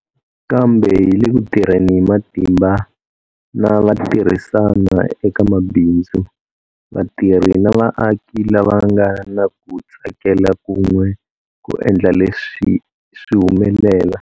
Kambe hi le ku tirheni hi matimba na vatirhisani eka mabindzu, vatirhi na vaaki lava nga na ku tsakela kun'we ku endla leswi swi humelela.